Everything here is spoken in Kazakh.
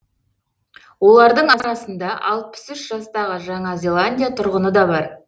олардың арасында алпыс үш жастағы жаңа зеландия тұрғыны да бар